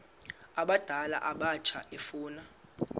abadala abatsha efuna